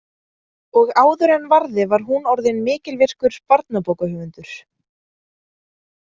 Og áður en varði var hún orðin mikilvirkur barnabókahöfundur.